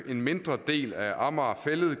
en mindre del af amager fælled